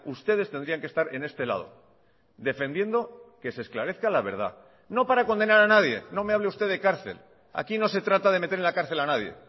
ustedes tendrían que estar en este lado defendiendo que se esclarezca la verdad no para condenar a nadie no me hable usted de cárcel aquí no se trata de meter en la cárcel a nadie